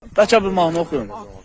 Bəlkə bir mahnı oxuyun.